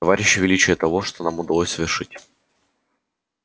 вы не цените товарищи величие того что нам удалось совершить